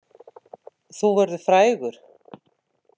Þú verður frægur!